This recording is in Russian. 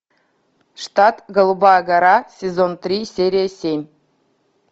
штат голубая гора сезон три серия семь